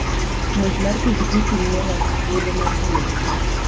Ng'wech mar pikipiki miyo ng'ato thuolo mar tiyo gi pache.